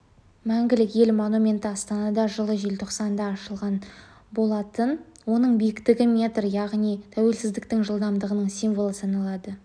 мәңгілік ел монументі астанада жылы желтоқсанда ашылған болатын оның биіктігі метр яғни тәуелсіздіктің жылдығының символы саналады